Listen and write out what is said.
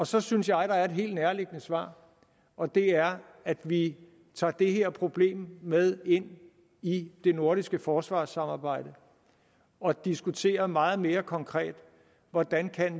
så synes jeg der er et helt nærliggende svar og det er at vi tager det her problem med ind i det nordiske forsvarssamarbejde og diskuterer meget mere konkret hvordan